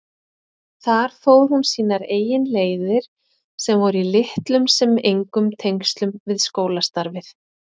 Þar fór hún sínar eigin leiðir sem voru í litlum sem engum tengslum við skólastarfið.